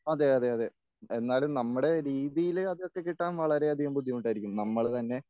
അതെ അതെ അതെ എന്നാലും നമ്മുടെ രീതിയിലെ അതൊക്കെ കിട്ടാൻ വളരെയധികം ബുദ്ധിമുട്ടായിരിക്കും നമ്മള് തന്നെ